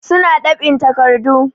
Su na ɗab'in takardu.